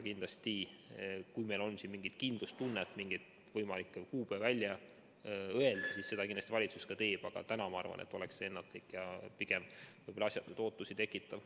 Kindlasti, kui on mingi kindlustunne, et saab mingi kuupäeva välja öelda, siis seda valitsus teeb, aga täna, ma arvan, oleks see ennatlik ja pigem võib-olla asjatuid ootusi tekitav.